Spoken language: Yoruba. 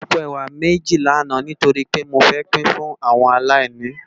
Mó rá àpó èwá méji làná nitóri pé mó fè pin fún áwòn àláìní